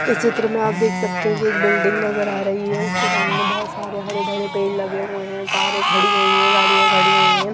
इस चित्र में आप देख सकते हैं कि एक बिल्डिंग नजर आ रही है उसके सामने बहुत सारे हरे भरे पेड़ लगे हुए हैं कारें खड़ी हुई हैं गाड़ियां खड़ी हुई हैं।